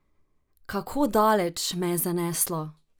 Kako daleč me je zaneslo?